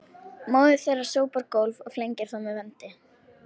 Móðir þeirra sópar gólf og flengir þá með vendi